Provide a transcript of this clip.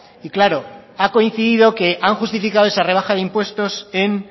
y claro ha coincidido que han justificado esa rebaja de impuestos en